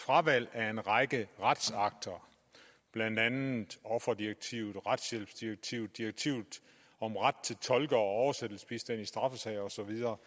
fravalg af en række retsakter blandt andet offerdirektivet retshjælpsdirektivet direktivet om ret til tolke og oversættelsesbistand i straffesager og så videre